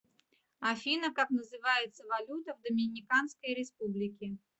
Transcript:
афина как называется валюта в доминиканской республике